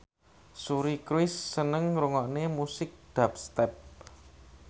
Suri Cruise seneng ngrungokne musik dubstep